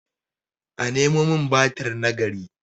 a Nemo min batir na gari!